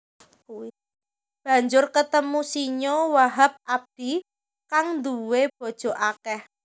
Banjur ketemu Sinyo Wahab Abdi kang nduwè bojo akèh